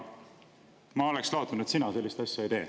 Ma oleksin lootnud, et sina sellist asja ei tee.